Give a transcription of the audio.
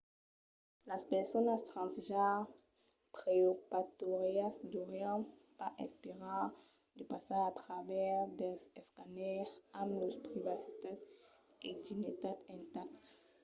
las personas transgenre preoperatòrias deurián pas esperar de passar a travèrs dels escàners amb lors privacitat e dignitat intactes